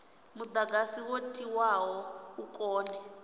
mudagasi wo tiwaho u kone